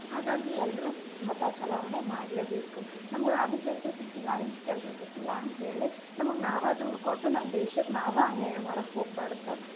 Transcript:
ಹಾಗಾಗಿ ಎಲ್ರು ಮತ ಚಲಾವಣೆ ಮಾಡ್ಲೆ ಬೇಕು, ನಮ್ಗ ಅದ್ ಕೆಲಸ ಸಿಕ್ಕಿಲ್ಲಾ ಇದ್ ಕೆಲ್ಸಾ ಸಿಕ್ಕಿಲ್ಲಾ ಅಂತ ಹೇಳಿ ನಮ್ಗ್ ನಾವ ದೂರ್ ಕೊಟ್ ನಮ್ಮ ದೇಶಕ್ಕ ನಾವ ಅನ್ಯಾಯ ಮಾಡಾಕ ಹೋಗ್ಬಾರ್ದ.